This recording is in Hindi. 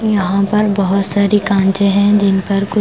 यहां पर बहुत सारी कांचे हैं जिन पर कु --